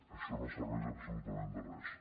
això no serveix absolutament de res